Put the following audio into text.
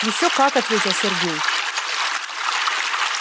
ещё как ответил сергей